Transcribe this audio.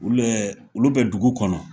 Ulɛɛ olu bɛ dugu kɔnɔ